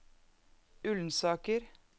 Ullensaker